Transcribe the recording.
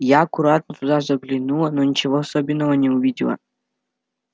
я аккуратно туда заглянула но ничего особенного не увидела